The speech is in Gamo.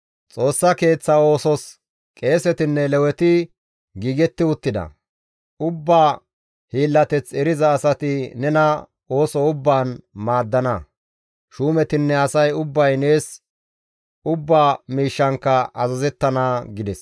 Xoossa Keeththa oosos qeesetinne Leweti giigetti uttida; ubba hiillateth eriza asati nena ooso ubbaan maaddana; shuumetinne asay ubbay nees ubba miishshankka azazettana» gides.